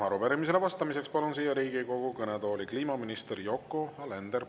Arupärimisele vastamiseks palun siia Riigikogu kõnetooli kliimaminister Yoko Alenderi.